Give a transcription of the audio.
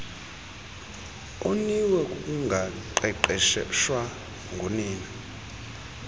oniwe kukungaqeqeshwa ngunina